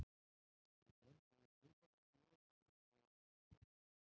Ég brenndi út hlaupabretti í jólafríinu þegar ég var að taka spretti.